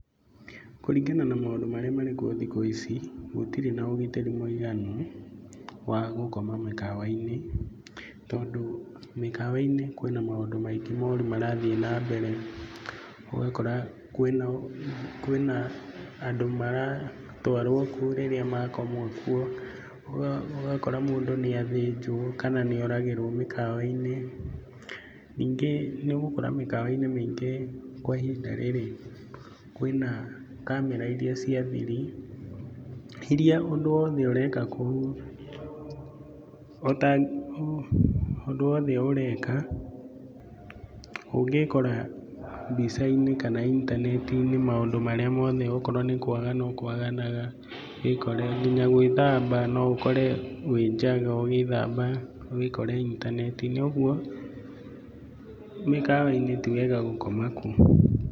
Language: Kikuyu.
Kũrĩngana na maũndũ marĩa marĩkuo thikũ ici, gũtĩri na ũgitĩri mũiganu wa gũkoma mĩkawa-inĩ. Tondũ mĩkawa-inĩ kwĩna maũndũ maingĩ moru marathiĩ na mbere, ũgakora kwĩna andũ maratwarwo kuo rĩrĩa makoma kuo, ũgakora mũndũ nĩathĩnjwo kana nĩoragĩrwo mĩkawa-inĩ. Ningĩ nĩũgũkora mĩkawa-inĩ mĩingĩ kwa ihinda rĩrĩ kwĩna kamera iria cia thiri, iria ũndũ wothe ũreka kũu, ũndũ wothe ũreka ũngĩĩkora mbica-inĩ kana intaneti-inĩ maũndũ marĩa mothe okorwo nĩ kwagana ũkwaganaga, wĩkore, nginya gwĩthamba, no ukore wi njaga ũgĩthamba wĩkore intaneti-inĩ ũguo mĩkawa-inĩ ti wega gũkoma kuo.